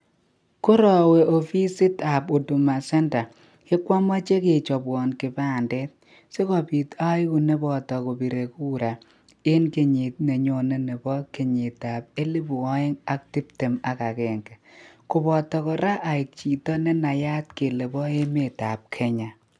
Korawe ofisit ab huduma centre kechobwo kipandet sikobit abir Kura eng kenyit neisubi ak kora kokenai Kele abo emet ab kenha